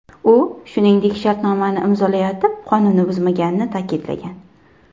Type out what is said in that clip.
U, shuningdek, shartnomani imzolayotib, qonunni buzmaganini ta’kidlagan.